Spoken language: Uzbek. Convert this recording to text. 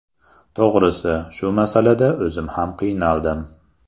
To‘g‘risi, shu masalada o‘zim ham qiynaldim.